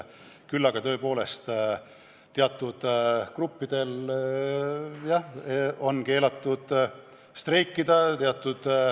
Aga tõepoolest, teatud gruppidel on keelatud streikida.